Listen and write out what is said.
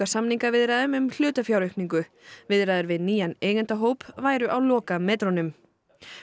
samningaviðræðum um hlutafjáraukningu viðræður við nýjan væru á lokametrunum